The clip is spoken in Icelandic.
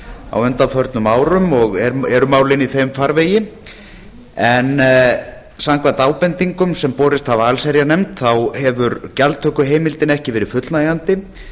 á undanförnum árum og eru málin í þeim farvegi en samkvæmt ábendingum sem borist hafa allsherjarnefnd hefur gjaldtökuheimildin ekki verið fullnægjandi